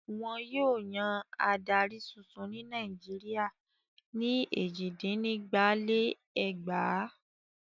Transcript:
Wọn yóò yan adarí tuntun ní Nàìjíríà ní èjìdínígba-lé-ẹgbàá.